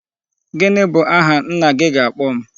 Gini bu aha nna gị ga-akpo m?